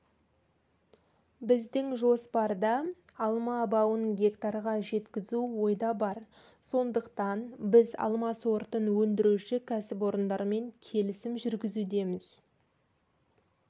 біздің жоспарда алма бауын гектарға жеткізу ойда бар сондықтан біз алма сортын өндіруші кәсіпорындармен келісім жүргізудеміз